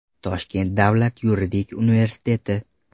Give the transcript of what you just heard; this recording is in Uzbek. Toshkent Davlat yuridik universiteti.